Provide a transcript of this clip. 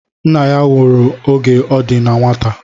Nna ya nwụrụ oge ọ di na nwata